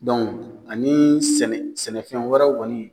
ani sɛnɛ sɛnɛfɛn wɛrɛw kɔni.